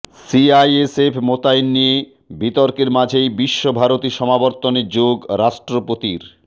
CISF মোতায়েন নিয়ে বিতর্কের মাঝেই বিশ্বভারতী সমাবর্তনে যোগ রাষ্ট্রপতির